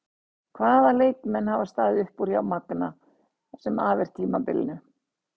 Hvaða leikmenn hafa staðið upp úr hjá Magna það sem af er tímabili?